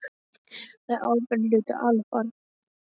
Það er ábyrgðarhluti að ala upp barn.